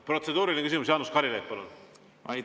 Protseduuriline küsimus, Jaanus Karilaid, palun!